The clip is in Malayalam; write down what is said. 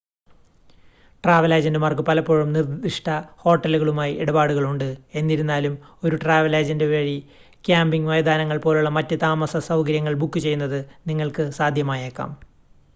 ട്രാവൽ ഏജൻ്റുമാർക്ക് പലപ്പോഴും നിർദ്ദിഷ്‌ട ഹോട്ടലുകളുമായി ഇടപാടുകൾ ഉണ്ട് എന്നിരുന്നാലും ഒരു ട്രാവൽ ഏജൻ്റ് വഴി ക്യാമ്പിംഗ് മൈതാനങ്ങൾ പോലുള്ള മറ്റ് താമസസൗകര്യങ്ങൾ ബുക്ക് ചെയ്യുന്നത് നിങ്ങൾക്ക് സാധ്യമായേക്കാം